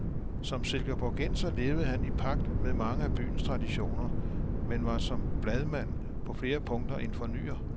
Som silkeborgenser levede han i pagt med mange af byens traditioner, men var som bladmand på flere punkter en fornyer.